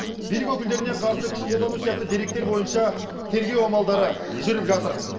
билік өкілдеріне қарсы күш қолдану сияқты деректер бойынша тергеу амалдары жүріп жатыр